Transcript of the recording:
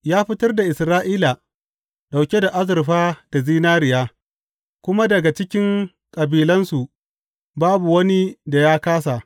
Ya fitar da Isra’ila, ɗauke da azurfa da zinariya, kuma daga cikin kabilansu babu wani da ya kāsa.